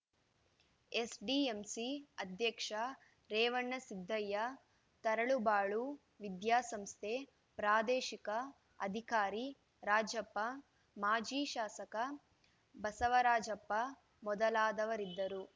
SDMC ಅಧ್ಯಕ್ಷ ರೇವಣಸಿದ್ದಯ್ಯ ತರಳಬಾಳು ವಿದ್ಯಾಸಂಸ್ಥೆ ಪ್ರಾದೇಶಿಕ ಅಧಿಕಾರಿ ರಾಜಪ್ಪ ಮಾಜಿ ಶಾಸಕ ಬಸವರಾಜಪ್ಪ ಮೊದಲಾದವರಿದ್ದರು